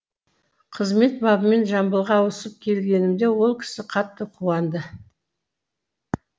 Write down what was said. қызмет бабымен жамбылға ауысып келгенімде ол кісі қатты қуанды